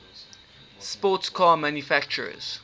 sports car manufacturers